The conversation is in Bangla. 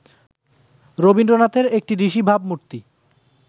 রবীন্দ্রনাথের একটি ঋষি ভাবমূর্তি